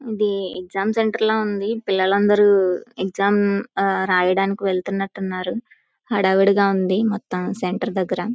ఇది exam centre ల ఉంది. పిల్లలు అందరూ ఎక్సమ్ రాయడానికి వెళ్తున్నట్టు ఉన్నారు. హడావిడిగా ఉంది మొత్తం సెంటర్ దగ్గర.